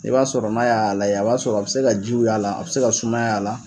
I b'a sɔrɔ n'a y'a lajɛ , a b'a sɔrɔ a bɛ se ka jiw y'a la, a bɛ se ka sumaya y'a la.